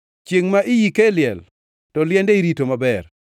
Chiengʼ ma iyike e liel to liende irito maber.